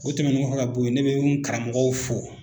O tɛmɛnen kɔ fo ka bɔ yen ne bɛ n karamɔgɔ fo